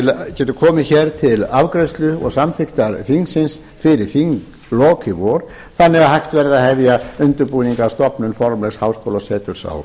geti komið hér til afgreiðslu og samþykktar þingsins fyrir þinglok í vor þannig að hægt verði að hefja undirbúning að stofnun formlegs háskólaseturs á